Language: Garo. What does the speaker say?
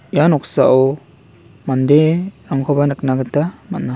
ia noksao manderangkoba nikna gita man·a.